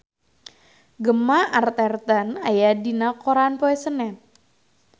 Gemma Arterton aya dina koran poe Senen